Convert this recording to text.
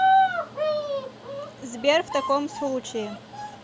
сбер в таком случае